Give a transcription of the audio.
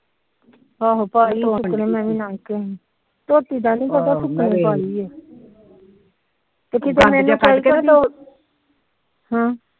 ਆਹੋ ਧੋਤੀ ਦਾ ਨੀ ਪਤਾ ਸੁਕਣੀ ਪਾਈ